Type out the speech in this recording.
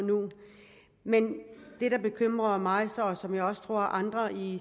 men det der bekymrer mig og andre i